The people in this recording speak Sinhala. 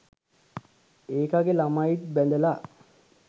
ඒකගෙ ළමයිත් බැඳල